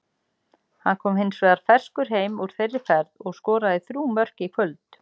Hann kom hins vegar ferskur heim úr þeirri ferð og skoraði þrjú mörk í kvöld.